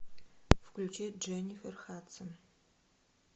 включи дженнифер хадсон